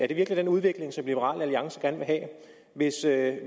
det virkelig den udvikling liberal alliance gerne vil have hvis det